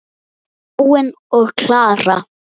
Þráinn og Kara.